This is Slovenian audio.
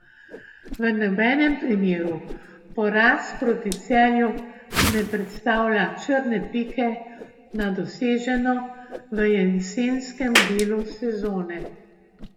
V nobenem primeru poraz proti Celju ne predstavlja črne pike na doseženo v jesenskem delu sezone.